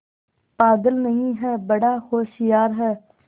पागल नहीं हैं बड़ा होशियार है